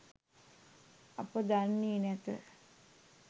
අප දන්නේ නැත.